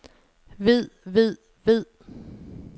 ved ved ved